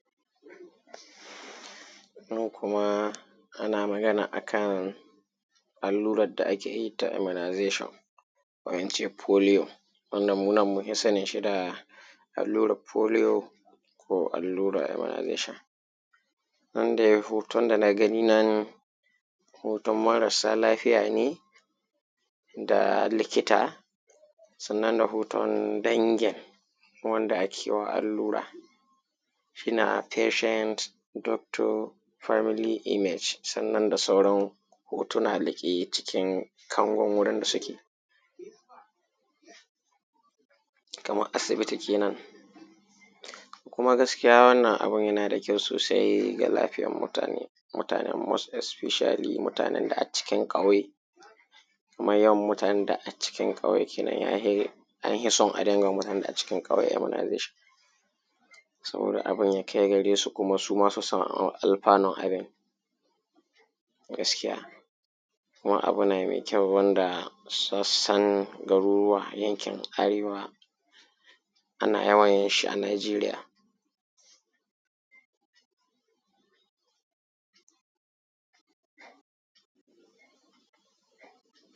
Yau kuma ana magana akan allurar da ake yi ta immunization ko ince polio, wanda mu nan mun pi sanin shi da allurar polio ko allurar immunization. Nan dai hooton da na gani nan, hooton marasa lafiya ne da likita sannan da hooton dangin wanda ake wa allura shine patient, doctor, family image, sannan da sauran hootunaa da ke jikin kangon wurin da suke, kamar asibiti kenan. Kuma gaskiya wannan abun yana da kyau soosai ga lafiyar mutaane, mutaane most especially mutaanen da accikin ƙauye, kuma yawan mutaanen da accikin ƙauye kenan an pi son a dinga mutaanen da accikin ƙauye immunization sabooda abin ya kai gareesu kuma su ma su san alfanun abun gaskiya. Kuma abu ne mai kyau wanda sun san garuruwa yankin Arewa ana yawan yin shi a Najeriya.